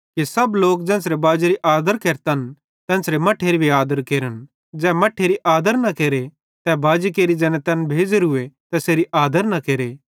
कि सब लोक ज़ेन्च़रे बाजेरी आदर केरतन तेन्च़रे मट्ठेरी भी आदर केरन ज़ै मट्ठेरी आदर न केरे तै बाजी केरि ज़ैने तैन भेज़ोरूए तैसेरी आदर न केरे